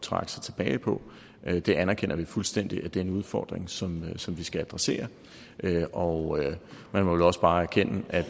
trække sig tilbage på det anerkender vi fuldstændig er en udfordring som som vi skal adressere og man må vel også bare erkende at